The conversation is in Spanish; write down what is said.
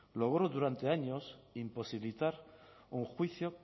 logró durante años imposibilitar un juicio